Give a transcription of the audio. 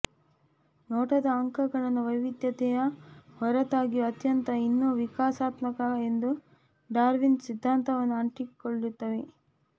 ನೋಟದ ಅಂಕಗಳನ್ನು ವೈವಿಧ್ಯತೆಯ ಹೊರತಾಗಿಯೂ ಅತ್ಯಂತ ಇನ್ನೂ ವಿಕಾಸಾತ್ಮಕ ಎಂದು ಡಾರ್ವಿನ್ ಸಿದ್ಧಾಂತವನ್ನು ಅಂಟಿಕೊಳ್ಳುತ್ತವೆ